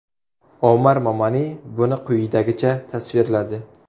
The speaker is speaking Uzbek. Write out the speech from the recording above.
Omar Momani buni quyidagicha tasvirladi.